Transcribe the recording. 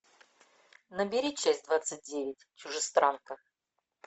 набери часть двадцать девять чужестранка